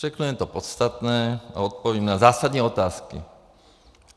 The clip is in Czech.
Řeknu jen to podstatné a odpovím na zásadní otázky.